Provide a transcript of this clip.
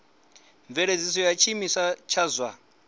mveledziso ya tshiimiswa tsha zwa